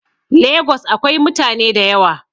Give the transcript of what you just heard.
Lagos akwai mutane da yawa.